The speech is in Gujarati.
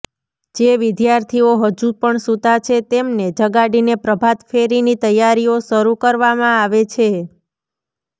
જે વિદ્યાર્થીઓ હજુ પણ સુતા છે તેમને જગાડીને પ્રભાત ફેરીની તૈયારીઓ શરૂ કરવામાં આવે છે